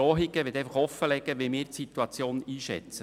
Bitte verstehen Sie das nicht als Drohung.